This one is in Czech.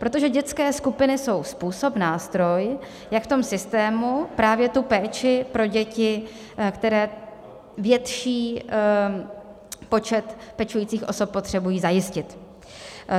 Protože dětské skupiny jsou způsob, nástroj, jak v tom systému právě tu péči pro děti, které větší počet pečujících osob potřebují, zajistit.